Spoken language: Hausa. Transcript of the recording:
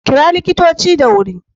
Kira likitoci da wuri